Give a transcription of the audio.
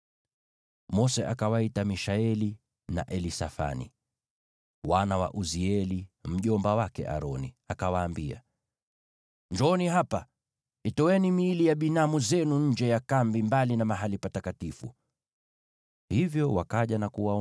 Mose akawaita Mishaeli na Elisafani, wana wa Uzieli mjomba wake Aroni, akawaambia, “Njooni hapa. Ondoeni miili ya binamu zenu mbele ya mahali patakatifu, mkaipeleke nje ya kambi.”